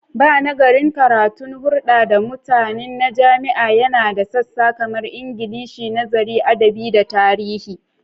Banagarin karatun hurda da mutani na jami'a yana da sassa kamar Ingilishi, Nazarin Adabi, da Tarihi.